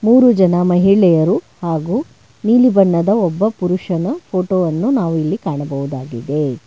ಮೂರು ಜನ ಮಹಿಳೆಯರು ಹಾಗೂ ನೀಲಿ ಬಣ್ಣದ ಒಬ್ಬ ಪುರುಷನ ಫೋಟೋ ವನ್ನು ನಾವಿಲ್ಲಿ ಕಾಣಬಹುದಾಗಿದೆ.